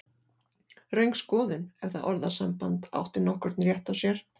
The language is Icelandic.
Röng skoðun, ef það orðasamband átti nokkurn rétt á sér.